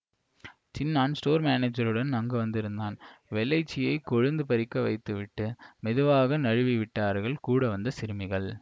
Chinnan store மானேஜருடன் அங்கு வந்திருந்தான் வெள்ளைச்சியைக் கொழுந்து பறிக்க வைத்துவிட்டு மெதுவாக நழுவிவிட்டார்கள் கூடவந்த சிறுமிகள்